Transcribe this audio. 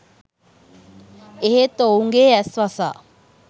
එහෙත් ඔවුන්ගේ ඇස් වසා